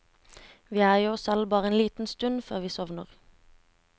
Vi er jo oss selv bare en liten stund før vi sovner.